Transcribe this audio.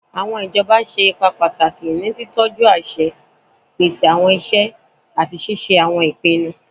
Awọn ijọba ṣe ipa pataki ni titọju aṣẹ, pese awọn iṣẹ, ati ṣiṣe awọn ipinnu